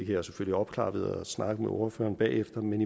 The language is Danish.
jeg selvfølgelig opklare ved at snakke med ordføreren bagefter men